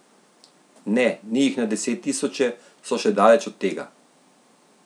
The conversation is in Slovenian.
Ne, ni jih na desettisoče, so še daleč od tega!